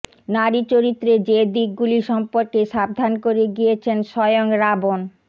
নারীচরিত্রের যে দিকগুলি সম্পর্কে সাবধান করে গিয়েছেন স্বয়ং রাবণ